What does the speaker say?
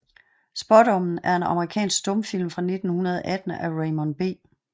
Spaadommen er en amerikansk stumfilm fra 1918 af Raymond B